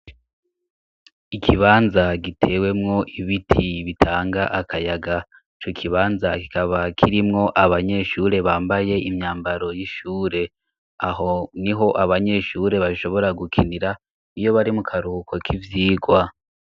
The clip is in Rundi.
Ikibanza gitewemwo ibiti bitanga akayaga. Ico kibanza kikaba kirimwo abanyeshure bambaye imyambaro y'ishure aho niho abanyeshure bashobora gukinira iyo bari mu karuhuko k'ivyigwa.